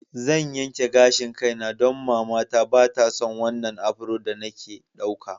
Zan yanke gashin kaina don matata ba ta son wannan afro da nake ɗauka.